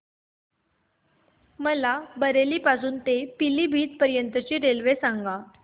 मला बरेली पासून तर पीलीभीत पर्यंत ची रेल्वे सांगा